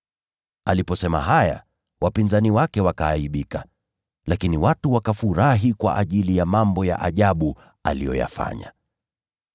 Aliposema haya, wapinzani wake wakaaibika, lakini watu wakafurahi kwa ajili ya mambo ya ajabu aliyoyafanya.